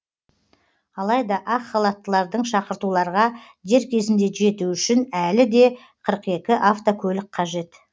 алайда ақ халаттылардың шақыртуларға дер кезінде жетуі үшін әлі де қырық екі автокөлік қажет